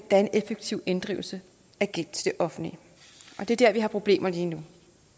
er en effektiv inddrivelse af gæld til det offentlige og det er dér vi har problemer lige nu